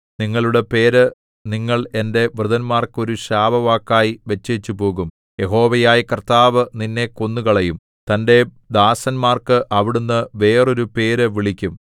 നിങ്ങളുടെ പേര് നിങ്ങൾ എന്റെ വൃതന്മാർക്ക് ഒരു ശാപവാക്കായി വെച്ചേച്ചുപോകും യഹോവയായ കർത്താവ് നിന്നെ കൊന്നുകളയും തന്റെ ദാസന്മാർക്ക് അവിടുന്ന് വേറൊരു പേര് വിളിക്കും